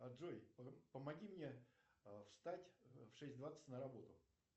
джой помоги мне встать в шесть двадцать на работу